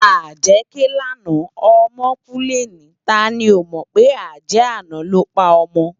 Ájè ké làná òmò kú lèni táni ó mò pé ájè àná ló pá òmò